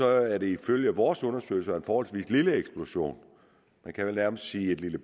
er det ifølge vores undersøgelser en forholdsvis lille eksplosion man kan vel nærmest sige et lille